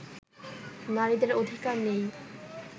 নারীদের অধিকার নেই